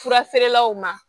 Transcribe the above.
Fura feerelaw ma